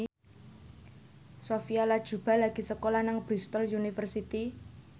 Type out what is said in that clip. Sophia Latjuba lagi sekolah nang Bristol university